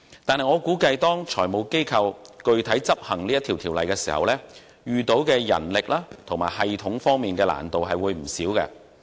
但是，我估計當財務機構實際遵守有關法例要求時，將會在人力和系統方面遇到不少困難。